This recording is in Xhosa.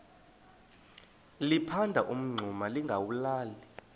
liphanda umngxuma lingawulali